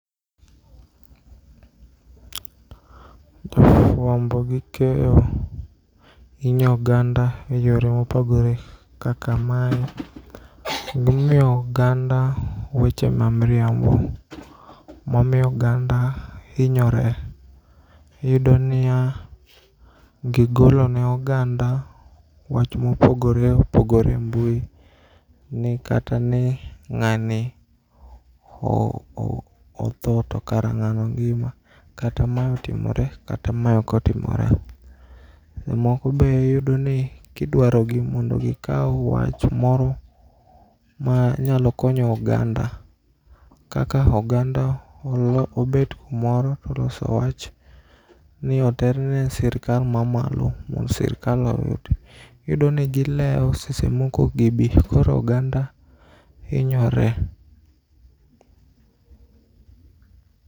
Jo fuambo gi keyo hinyo oganda eyore mopogore kaka mae gimiyo oganda weche ma mriambo mamiyo oganda inyore. Iyudoniya gigolo ne oganda wach mopogore opogore e mbui ni katani ng'ani otho to kara ng'ano ngima kata ma otimore kata ma okotimore. Moko be iyudoni kidwarogi mondo gikau wach moro ma nyalo konyo oganda kaka oganda obet kumoro toloso wach ni oterne sirkal ma malo mond sirkal oyud. Iyudoni gileo seche moko okgibii koro oganda inyore.